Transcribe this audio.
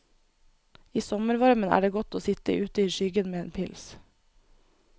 I sommervarmen er det godt å sitt ute i skyggen med en pils.